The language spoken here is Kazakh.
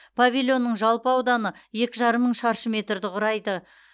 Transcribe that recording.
павильонның жалпы ауданы екі жарым мың шаршы метрді құрайды